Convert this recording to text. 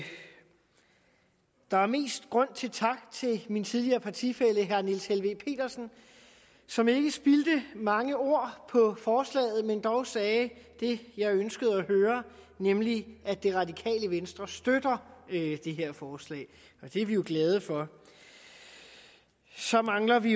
der er mest grund til tak til min tidligere partifælle herre niels helveg petersen som ikke spildte mange ord på forslaget men dog sagde det jeg ønskede at høre nemlig at det radikale venstres støtter det her forslag det er vi jo glade for så mangler vi